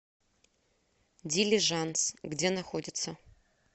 дилижанс где находится